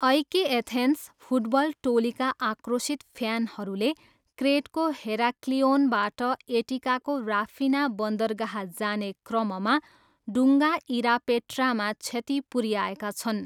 एइके Athens football टोलीका आक्रोशित फ्यानहरूले क्रेटको हेराक्लिओनबाट एटिकाको राफिना बन्दरगाह जाने क्रममा डुङ्गा इरापेट्रामा क्षति पुऱ्याएका छन्।